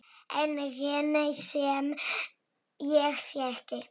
Enginn sem ég þekki.